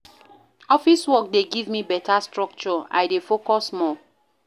Office work dey give me beta structure, I dey focus more.